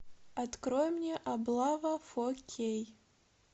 открой мне облава фо кей